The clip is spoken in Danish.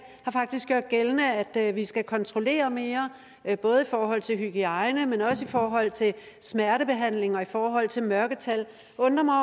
har faktisk gjort gældende at vi skal kontrollere mere både forhold til hygiejne men også i forhold til smertebehandling og i forhold til mørketal det undrer mig